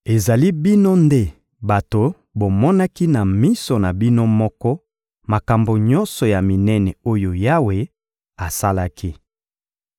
Ezali bino nde bato bomonaki na miso na bino moko makambo nyonso ya minene oyo Yawe asalaki.